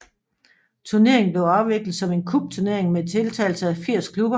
Turneringen blev afviklet som en cupturnering med deltagelse af 80 klubber